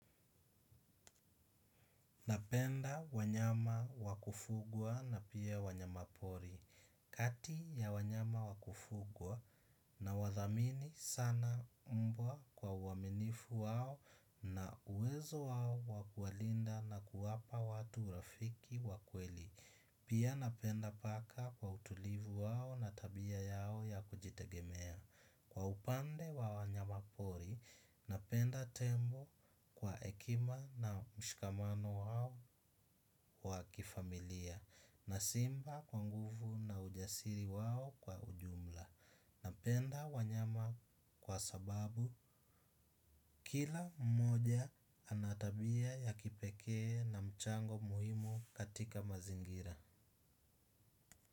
Napenda wanyama wa kufugwa na pia wanyama pori. Kati ya wanyama wakufugwa na wathamini sana mbwa kwa uaminifu wao na uwezo wao wakuwalinda na kuwapa watu urafiki wa kweli. Pia napenda paka kwa utulivu wao na tabia yao ya kujitegemea. Kwa upande wa wanyama pori, napenda tembo kwa hekima na mshikamano wao wa kifamilia. Na simba kwa nguvu na ujasiri wao kwa ujumla. Napenda wanyama kwa sababu kila mmoja anatabia ya kipekee na mchango muhimu katika mazingira.